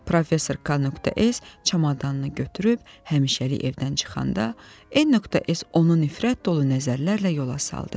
Professor K.S. çamadanını götürüb həmişəlik evdən çıxanda, N.S. onu nifrət dolu nəzərlərlə yola saldı.